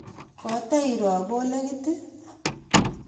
kotiro kolekit?